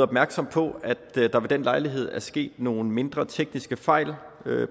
opmærksom på at der ved den lejlighed er sket nogle mindre tekniske fejl